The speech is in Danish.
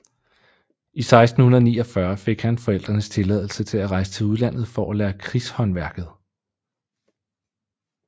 I 1649 fik han forældrenes tilladelse til at rejse til udlandet for at lære krigshåndværket